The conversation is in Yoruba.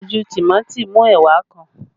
Àpọ̀jù tìmọ́ ti mú ẹwà kan